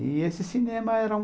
E esse cinema era um...